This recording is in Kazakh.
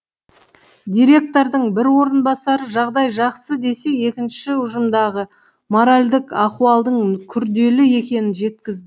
директордың бір орынбасары жағдай жақсы десе екіншісі ұжымдағы моральдік ахуалдың күрделі екенін жеткізді